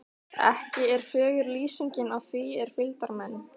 Ekki er fögur lýsingin á því er fylgdarmenn